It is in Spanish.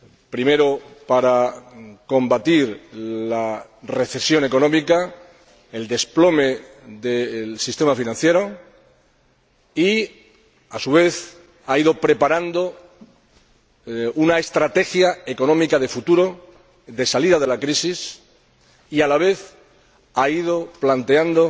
Primero, para combatir la recesión económica, el desplome del sistema financiero, ha ido preparando una estrategia económica de futuro, de salida de la crisis y, a la vez, ha ido planteando